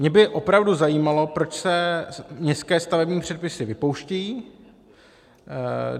Mě by opravdu zajímalo, proč se městské stavební předpisy vypouštějí.